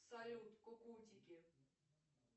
салют кукутики